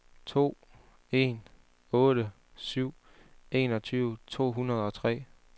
to en otte syv enogtyve to hundrede og tre